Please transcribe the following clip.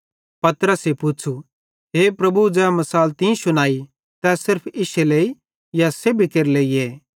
पतरसे पुच़्छ़ू हे प्रभु ज़ै मिसाल तीं शुनाई तै सिर्फ इश्शे लेइए या सेब्भी केरे लेइए